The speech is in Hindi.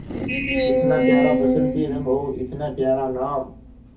इतना प्यारा बसंती रंग और इतना प्यारा नाम